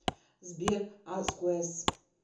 сбер асквэс